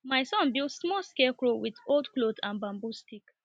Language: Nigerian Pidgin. my son build small scarecrow with old cloth and bamboo stick